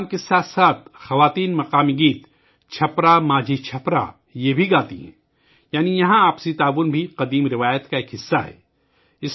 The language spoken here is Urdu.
اس کام کے ساتھ خواتین مقامی گیت ' چھپرا ماجھی چھپرا ' بھی گاتی ہیں یعنی یہاں باہمی تعاون بھی لوک روایت کا حصہ ہے